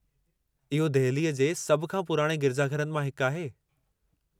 इहो दहिली जे सभु खां पुराणे गिरिजाघरनि मां हिकु आहे।